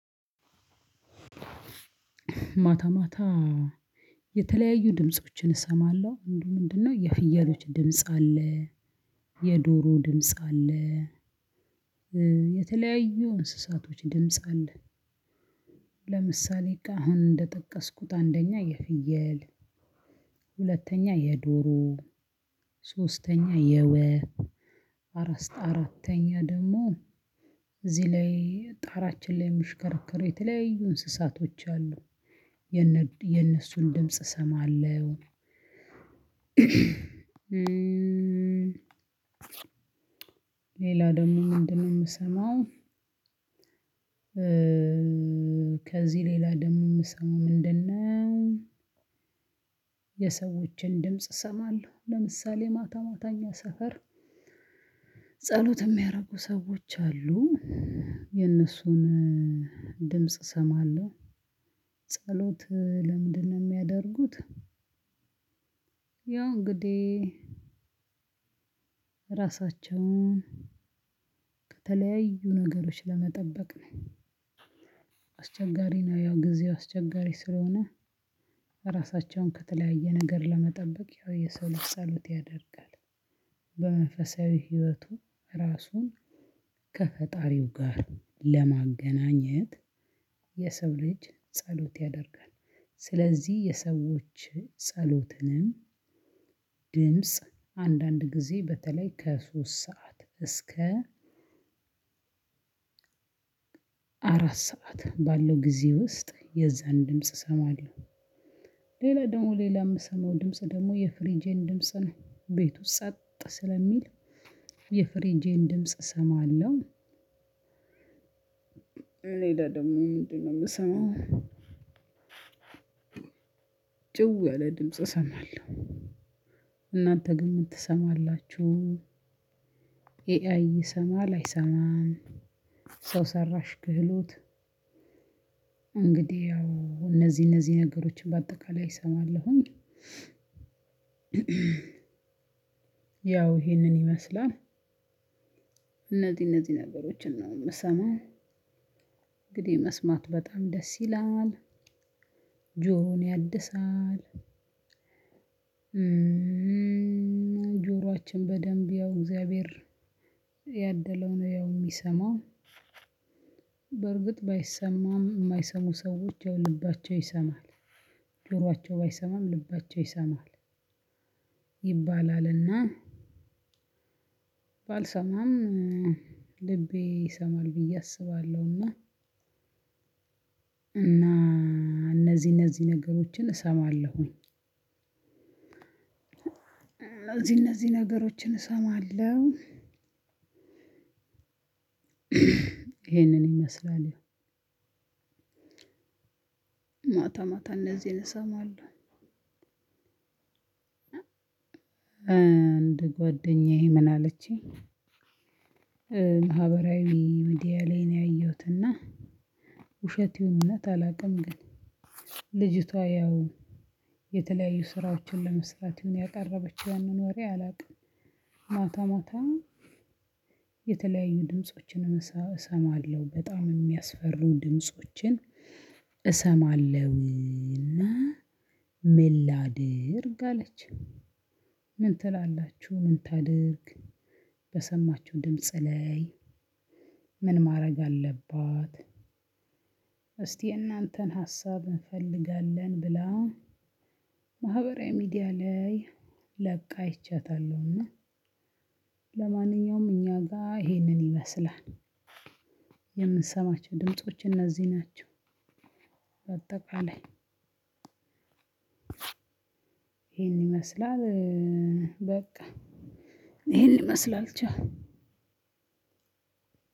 ማታ ማታ። የተለያዩ ድምፆችን እሰማለሁ ምንድን ምንድነን ነው? የፍየሎች ድምጽ አለ። የዶሮ ድምጽ አለ። የተለያዩ እንስሳቶች ድምጽ አለ። ለምሳሌ አሁን እንደጠቀስኩት አንደኛ የፍየል ሁለተኛ የዶሮ ሶስተኛ የወፍ አራተኛ ደግሞ እዚህ ላይ ጣራችን ላይ ምሽከረከር የተለያዩ እንስሳቶች አሉ የነሱን ድምጽ እሰማለሁ። ሌላ ደሞ ምንድነው ምሰማው? ከዚህ ሌላ ደሞ የምሰማው ምንድነው? የሰዎችን ድምጽ እሰማለሁ ለምሳሌ ማታ ማታ እኛ ሰፈር ጸሎት ሚያደረጉ ሰዎች አሉ የእነሱን ድምጽ እሰማለሁ። ጸሎት ለምንድን ነው የሚያደርጉት? ያው እንግዲህ ራሳቸውን ከተለያዩ ነገሮች ለመጠበቅ ነው። አስቸጋሪ ነው ያው ጊዜው አስቸጋሪ ስለሆነ። ራሳቸው ከተለያየ ነገር ለመጠበቅ ያው የሰው ጸሎት ያደርጋል። በመንፈሳዊ ህይወቱ ራሱን ከፈጣሪው ጋር ለማገናኘት የሰው ልጅ ጸሎት ያደርጋል። ስለዚህ የሰዎች ጸሎትንም ድምጽ አንዳንድ ጊዜ በተለይ ከሶስት ሰዓት እስከ አራት ሰዓት ባለው ጊዜ ውስጥ የዝህን ድምጽ እሰማለሁ። ሌላ ደሞ ሌላምሰማው ድምጽ ደግሞ የፍሪጄን ድምጽ ነው ቤቱ ጸጥ ስለሚል ድምጽ እሰማለሁ። ሌላ ደሞ ምንድን ነው የምሰማው? ጭው ያለ ድምጽ እሰማለሁ። እናተ ግን ምን ትሰማላችሁ? ኤአይ እየሰማል አይሰማም። ሰው ሰራሽ ክህሎት እንግዲህ ያው እነዚህ እነዚህ ነገሮችን በአጠቃላይ እሰማለሁ። ያው ይሄንን ይመስላል። እነዚህ እነዚህ ነገሮችን ነው ምሰማው። እንግዲህ መስማት በጣም ደስ ይላል ጆሮን ያድሳል። ጆሮአችን በደንብ ያው እግዚአብሔር ያደለው ነው ያው የሚሰማው። በርግጥ ባይሰማም የማይሰሙ ሰዎች ያው ልባቸው ይሰማል። ጆሯቸው ባይሰማም ልባቸው ይሰማል። ይባላል እና ባልሰማም ልቤ ይሰማል ብዬ አስባለሁና። እና እነዚህ እነዚህ ነገሮችን እሰማለሁኝ። እነዚህ ነገሮችን እሰማለሁ። ይሄንን ይመስላል ያው ማታ ማታ እነዚህን እሰማለሁ። አንድ ጓደኛዬ ምን አለችኝ። ማህበራዊ ምድያ ላይ ነው ያየሁት እና ውሸት ይሁን ውነት አላውቅም። ግን ልጅቷ ያው የተለያዩ ስራዎችን ለመስራት ይሁን ያቀረበችው ያንን ወሬ አላውቅም። ማታ ማታ የተለያዩ ድምፆችን እሰማለሁ በጣም የሚያስፈሩ ድምፆችን እሰማለሁና ምላድርግ አለች። ምን ትላላችሁ ምን ታድርግ? በሰማችሁ ድምጽ ላይ ምን ማረግ አለባትእሰኪ? የናተን ሀሳብእንፈልገለን ብላ። ማህበራዊ ሚዲያ ላይ ለቃ አይቻታለሁና። ለማንኛውም እኛ ጋ ይሄንን ይመስላል። የምንሰማቸው ድምጾች እነዚህ ናቸው። በአጠቃላይ ይሄን ይመስላል። በቃ ይሄን ይመስላል ቻው።